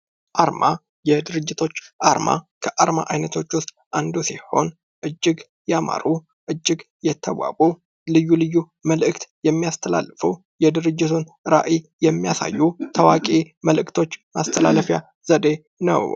አርማ የድርጅቶች አርማ ከአርማ አይነቶች ዉስጥ አንዱ ሲሆን እጅግ ያማሩ እጅግ የተዋቡ ልዩ ልዩ መልዕክት የሚያስተላልፉ የድርጅት ራዕይ የሚያሳዩ ታዋቂ መልዕክቶች ማስተላለፊያ መንገድ ነዉ።